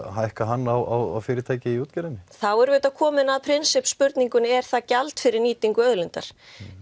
hækka hann á fyrirtæki í útgerðinni þá erum við komin að prinsipp spurningunni er það gjald fyrir nýtingu auðlindar